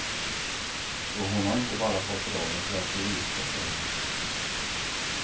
Så hon har inte bara fått rollen för att vi är gifta, säger han.